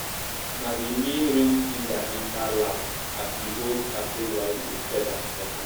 na the main rain singer enter last as e hold sacred white feather for hand.